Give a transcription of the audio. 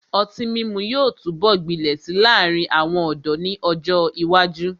Ọtí mímu yóò túbọ̀ gbilẹ̀ si láàrin àwọn ọ̀dọ́ ni ọ́jọ ìwájú.